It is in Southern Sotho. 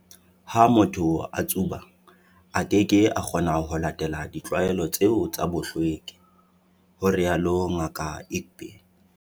"Ha motho a tsuba, a keke a kgona ho latela ditlwaelo tseo tsa bohlweki," ho rialo Ngaka Egbe.